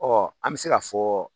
an bɛ se ka fɔ